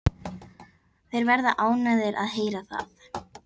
Þeir verða ánægðir að heyra það.